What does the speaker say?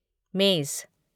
मेज